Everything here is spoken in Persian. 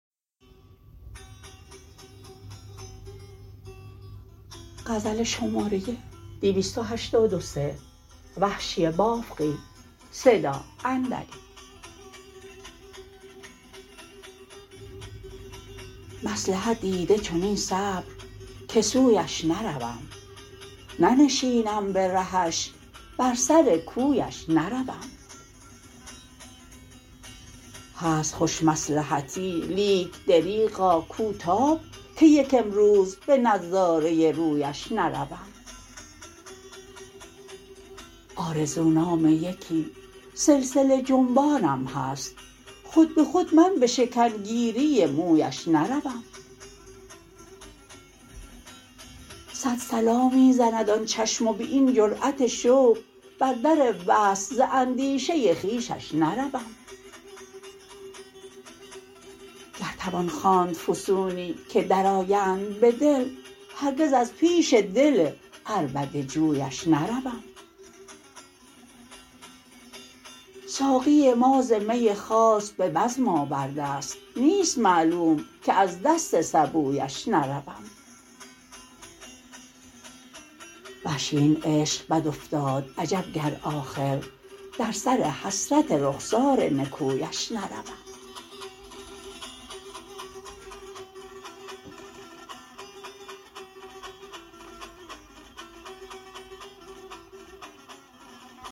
مصلحت دیده چنین صبر که سویش نروم ننشینم به رهش بر سر کویش نروم هست خوش مصلحتی لیک دریغا کو تاب که یک امروز به نظاره رویش نروم آرزو نام یکی سلسله جنبانم هست خود به خود من به شکن گیری مویش نروم سد صلا می زند آن چشم و به این جرأت شوق بر در وصل ز اندیشه خویش نروم گر توان خواند فسونی که در آیند به دل هرگز از پیش دل عربده جویش نروم ساقی ما ز می خاص به بزم آورده است نیست معلوم که از دست سبویش نروم وحشی این عشق بد افتاد عجب گر آخر در سر حسرت رخسار نکویش نروم